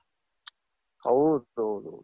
ಹೌದೌದು.